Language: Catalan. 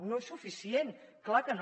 no és suficient clar que no